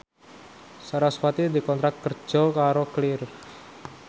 sarasvati dikontrak kerja karo Clear